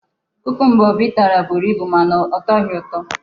kukumba Obi tara buru ibu mana ọ tọghị ụtọ.